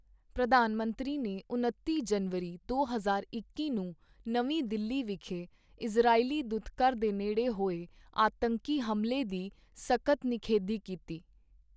ਪ੍ਰਧਾਨ ਮੰਤਰੀ ਨੇ ਉਨੱਤੀ ਜਨਵਰੀ ਦੋ ਹਜ਼ਾਰ ਇੱਕੀ ਨੂੰ ਨਵੀਂ ਦਿੱਲੀ ਵਿਖੇ ਇਜ਼ਰਾਈਲੀ ਦੂਤਘਰ ਦੇ ਨੇੜੇ ਹੋਏ ਆਤੰਕੀ ਹਮਲੇ ਦੀ ਸਖਤ ਨਿਖੇਧੀ ਕੀਤੀ।